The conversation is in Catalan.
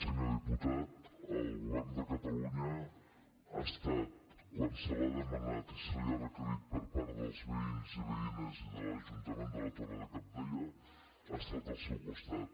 senyor diputat el govern de catalunya ha estat quan se li ha demanat i se li ha requerit per part dels veïns i veïnes i de l’ajuntament de la torre de cabdella al seu costat